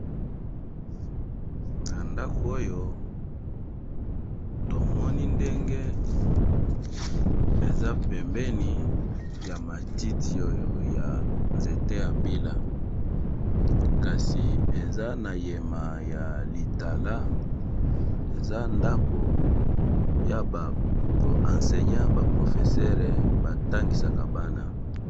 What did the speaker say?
Na ndako oyo tomoni ndenge eza pembeni ya matiti oyo ya nzete ya mbila, kasi eza na yema ya litala eza ndako ya ba enseignant ba professere ba tangisaka bana.